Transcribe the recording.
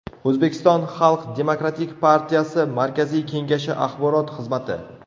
O‘zbekiston Xalq demokratik partiyasi markaziy kengashi axborot xizmati .